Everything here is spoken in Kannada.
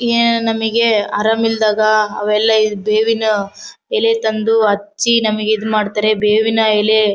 ಏನ್ ನಮಗೆ ಆರಾಮ ಇಲ್ಲದಾಗ ಅವೆಲ್ಲಾ ಈ ಬೇವಿನ ಎಲೆ ತಂದು ಹಚ್ಚಿ ನಮಗೆ ಈದ್ ಮಾಡತ್ತರೆ ಬೇವಿನ ಎಲೆ .